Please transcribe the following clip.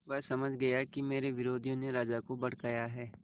वह समझ गया कि मेरे विरोधियों ने राजा को भड़काया है